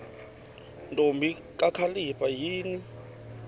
ntombi kakhalipha yini